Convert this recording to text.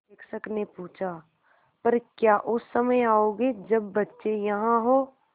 शिक्षक ने पूछा पर क्या उस समय आओगे जब बच्चे यहाँ हों